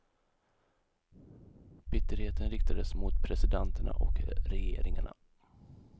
Bitterheten riktades mot presidenterna och regeringarna.